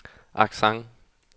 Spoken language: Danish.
accent